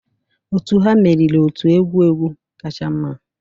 Otu ha meriri otu egwu egwu kacha mma